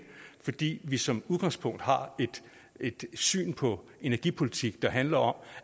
fordi vi som udgangspunkt har et syn på energipolitikken der handler om